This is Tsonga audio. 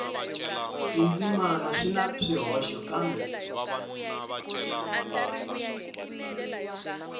tindzimana swi na swihoxo kambe